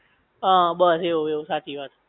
હા બસ એવું એવું સાચી વાત છે